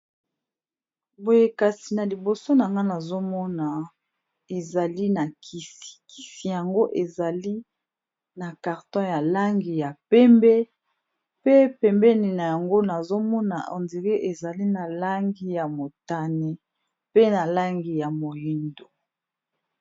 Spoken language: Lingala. Boye kasi na liboso na nga nazomona ezali na kisi kisi yango ezali na carton ya langi ya pembe pe pembeni na yango nazomona ondire ezali na langi ya motane pe na langi ya moyindo.